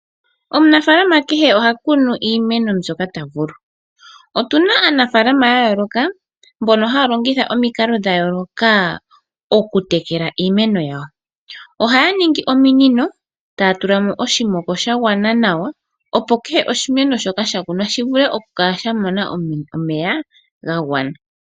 Omunafaalama kehe oha kunu iimeno mbyoka taya vulu. Otuna aanafaalama ya yooloka mbono haya longitha omikalo dha yooloka okutekela iimeno yawo. Ohaya ningi ominino taya tula mo oshimoko sha gwana nawa opo kehe oshimeno shoka sha kunwa shi vule okukala sha mona omeya ga gwana.